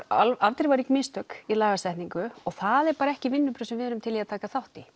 afdrifarík mistök í lagasetningu og það eru bara ekki vinnubrögð sem við erum til í að taka þátt í